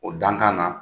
O dankan na